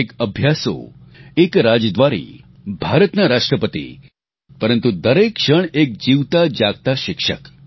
એક અભ્યાસુ એક રાજદ્વારી ભારતના રાષ્ટ્રપતિ પરંતુ દરેક ક્ષણ એક જીવતા જાગતા શિક્ષક